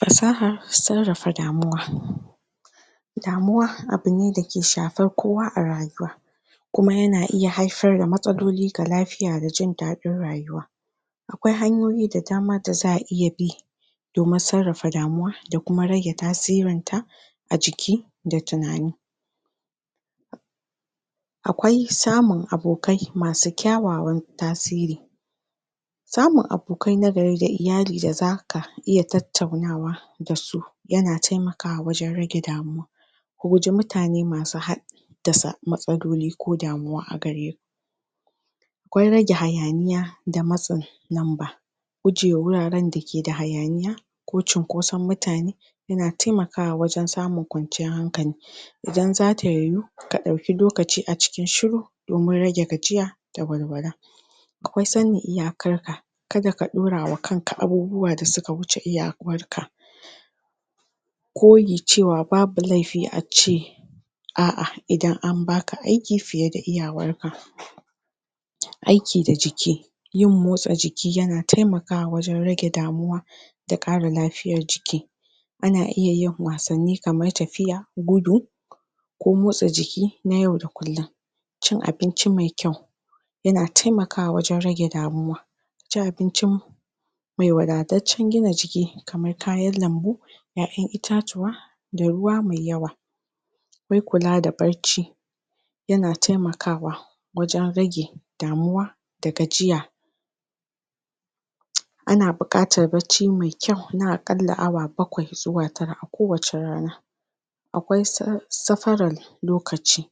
Fasahar sarrafa damuwa. Damuwa; abu ne da ke shafar kowa a rayuwa, kuma yana haifar da matsaloli ga lafiya da jin daɗin rayuwa. Akwai hanyoyi da dama da za aiya bi domin sarrafa damuwa, da kuma rage tasirin ta a jiki, da tunani. Akwai samun abokai masu kyawawan tasiri; samun abokai nagari da iyali da zaka iya tattaunawa da su, yana taimakawa wajen rage damuwa. Ku guji mutane masu had dasa matsaloli ko damuwa a gare ku. Akwai rage hayaniya da matsin namba; gujewa wuraren da ke da hayaniya, ko cunkoson mutane, yana taimakawa wajen samun kwanciyar hankali. Idan zata yuyu, ka ɗauki lokaci a cikin shiru, domin rage gajiya da walwala. Akwai sanin iyakar ka; kada ka ɗaura wa kanka abubuwa da suka wuce iyakar ka. Koyi cewa babu laifi a ce a'a idan an baka aiki fiye da iyawar ka. Aiki da jiki; yin motsa jiki yana taimakawa wajen rage damuwa, da ƙara lafiyar jiki. Ana iya yin wasanni; kamar tafiya, gudu ko motsa jiki na yau da kullum. Cin abinci mai kyau; yana taimakawa wajen rage damuwa. A ci abinci mai wadataccen gina jiki, kamar kayan lambu, ƴaƴan itatuwa, da ruwa mai yawa. Akwai kula da barci; yana taimakawa wajen rage damuwa, da gajiya. Ana buƙatar bacci mai kyau, na aƙalla awa bakwai zuwa tara a kowace rana. Akwai? safarar lokaci;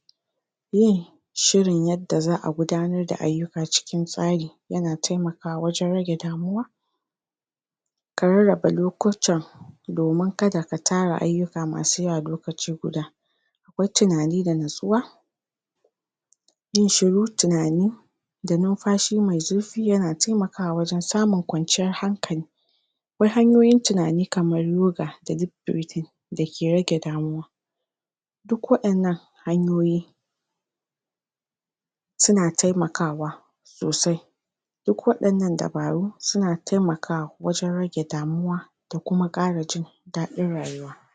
yin shirin yadda za a gudanar da ayyuka cikin tsari, yana taimakawa wajen rage damuwa. Ka rarraba lokutan domin kada ka tara ayyuka masu yawa lokaci guda. Akwai tunani da nutsuwa; yin shiru, tunani, da numfashi mai zurfi, yana taimakawa wajen samun kwanciyar hankali. Akwai hanyoyin tunani kamar Yoga, da deep breathing, da ke rage damuwa.???? Duk waɗan nan dabaru, suna taimakawa wajen rage damuwa, da kuma ƙara jin daɗin rayuwa.